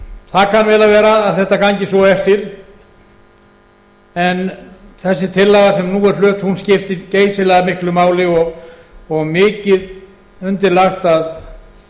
vel að vera að þetta gangi svo eftir en þessi tillaga sem nú er flutt skiptir geysilega miklu máli og mikið undir lagt